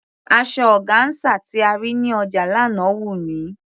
Asọ ọgáńsà tí a rí ní ọjà lánàá wù mí.